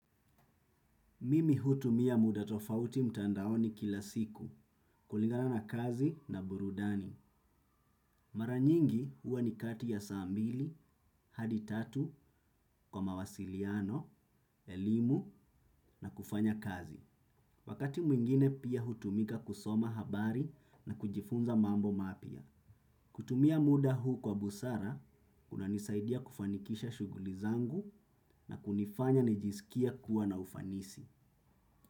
Mimi hutumia muda tofauti mtandaoni kila siku, kulingana na kazi na burudani. Mara nyingi huwa ni kati ya saa mbili hadi tatu, kwa mawasiliano, elimu na kufanya kazi. Wakati mwingine pia hutumika kusoma habari na kujifunza mambo mapia. Kutumia muda huu kwa busara, kunanisaidia kufanikisha shughuli zangu na kunifanya nijisikie kuwa na ufanisi.